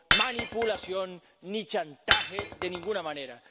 manipulación ni chantaje de ninguna manera.